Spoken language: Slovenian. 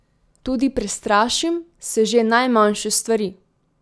Tudi prestrašim se že najmanjše stvari.